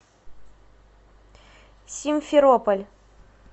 симферополь